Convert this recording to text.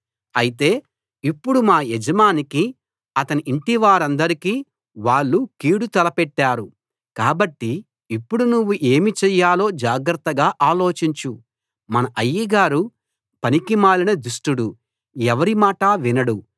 అయితే ఇప్పుడు మా యజమానికీ అతని ఇంటివారందరికీ వాళ్ళు కీడు తలపెట్టారు కాబట్టి ఇప్పుడు నువ్వు ఏమి చెయ్యాలో జాగ్రత్తగా ఆలోచించు మన అయ్యగారు పనికిమాలిన దుష్టుడు ఎవరి మాటా వినడు